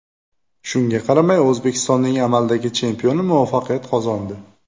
Shunga qaramay O‘zbekistonning amaldagi chempioni muvaffaqiyat qozondi.